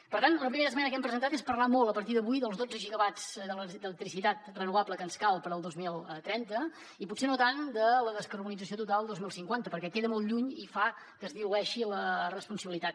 per tant una primera esmena que hem presentat és parlar molt a partir d’avui dels dotze gigawatts d’electricitat renovable que ens calen per al dos mil trenta i potser no tant de la descarbonització total del dos mil cinquanta perquè queda molt lluny i fa que es dilueixi la responsabilitat